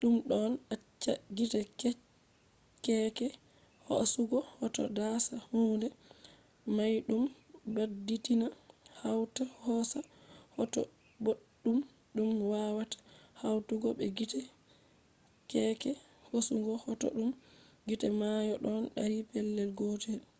ɗum ɗon acca gite keeke hoasugo hoto dasa hunde dayɗum baditina hawta hoosa hoto boɗɗum ɗum wawata hawtugo be gite keeke hosugo hoto ɗum gite may ɗon dari pellel gotel